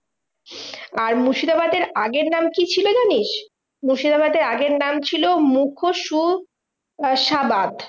আর মুর্শিদাবাদের আগের নাম কি ছিল জানিস্? মুর্শিদাবাদের আগের নাম ছিল মুখোশু আহ সাবাদ।